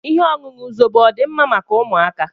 Ihe ọṅụṅụ Zobo ọdi mma maka ụmụaka?